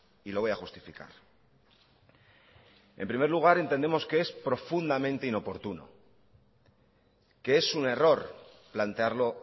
y lo voy a justificar en primer lugar entendemos que es profundamente inoportuno que es un error plantearlo